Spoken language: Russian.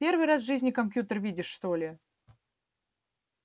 первый раз в жизни компьютер видишь что ли